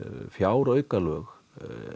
fjáraukalög